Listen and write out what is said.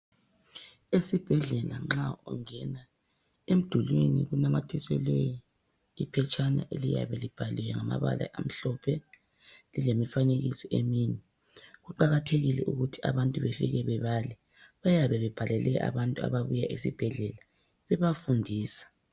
Esibhedlela nxa ungena, emdulwini kunamathiselwe iphetshana eliyabe libhaliwe ngamabala amhlophe lilemifanekiso eminy. Kuqakathekile ukuthi abantubefike bebale, bayabe bebhalele abantu ababuya esibhedlela bebafundisa.